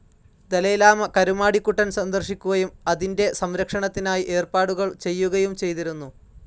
Dalai Lama Karumadikuttan സന്ദർശിക്കുകയും അതിന്റെ സം‌രക്ഷണത്തിനായി ഏർപ്പാടുകൾ ചെയ്യുകയും ചെയ്തിരുന്നു.